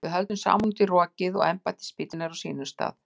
Við höldum saman út í rokið og embættisbíllinn er á sínum stað.